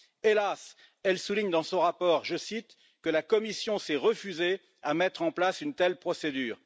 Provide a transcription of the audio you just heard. Hélas, elle souligne dans son rapport que la Commission s'est refusée à mettre en place une telle procédure.